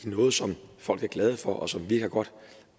noget som folk er glade for og som virker godt